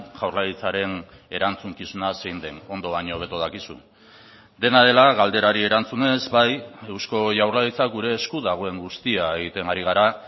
jaurlaritzaren erantzukizuna zein den ondo baino hobeto dakizu dena dela galderari erantzunez bai eusko jaurlaritza gure esku dagoen guztia egiten ari gara